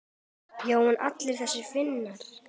Já en allir þessir Finnar.